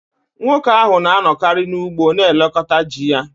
Nwoke ahụ na-anọkarị n’ugbo na-elekọta ji ya